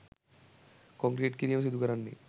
concrete කිරීම සිදුකරන්නේ